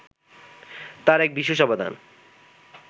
তাঁর এক বিশেষ অবদান